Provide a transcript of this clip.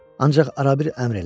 Ancaq arabir əmr elə.